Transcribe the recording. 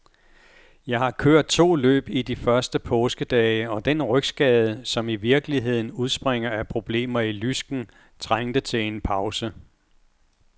Jeg har kørt to løb i de første påskedage, og den rygskade, som i virkeligheden udspringer af problemer i lysken, trængte til en pause.